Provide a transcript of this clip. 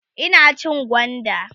Ina cin gwanda